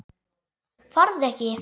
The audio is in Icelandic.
Farðu ekki.